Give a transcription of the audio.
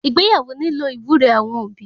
Ìgbéyàwó nílò iwúre awọn obi